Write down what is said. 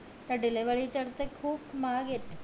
delivery खूप महाग येत